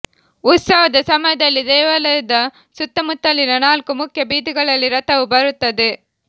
ಉತ್ಸವದ ಸಮಯದಲ್ಲಿ ದೇವಾಲಯದ ಸುತ್ತಮುತ್ತಲಿನ ನಾಲ್ಕು ಮುಖ್ಯ ಬೀದಿಗಳಲ್ಲಿ ರಥವು ಬರುತ್ತದೆ